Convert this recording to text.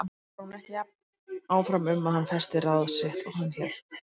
Kannski var hún ekki jafn áfram um að hann festi ráð sitt og hann hélt.